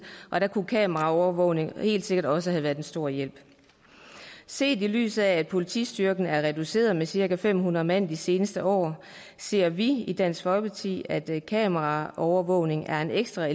og der kunne kameraovervågning helt sikkert også have været en stor hjælp set i lyset af at politistyrken er reduceret med cirka fem hundrede mand de seneste år ser vi i dansk folkeparti at kameraovervågning er en ekstra